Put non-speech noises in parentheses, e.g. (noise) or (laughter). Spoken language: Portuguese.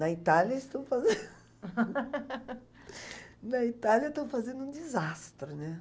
Na Itália eles estão fazen... (laughs) Na Itália estão fazendo um desastre, né?